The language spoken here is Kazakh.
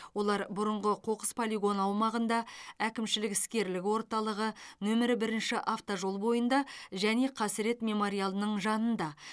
олар бұрыңғы қоқыс полигоны аумағында әкімшілік іскерлік орталығы нөмірі бірінші автожол бойында және қасірет мемориалының жанында